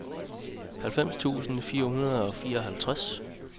halvfems tusind fire hundrede og fireoghalvtreds